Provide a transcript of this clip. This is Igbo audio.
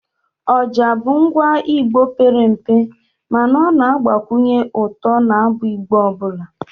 oja bụ ngwa Igbo pere mpe mana ọ na-agbakwunye ụtọ n'abụ Igbo ọbụla